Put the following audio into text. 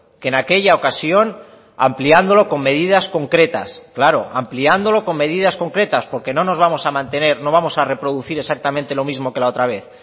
que en aquella ocasión ampliándolo con medidas concretas claro ampliándolo con medidas concretas porque no nos vamos a mantener no vamos a reproducir exactamente lo mismo que la otra vez